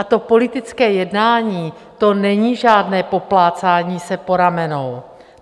A to politické jednání, to není žádné poplácání se po ramenou.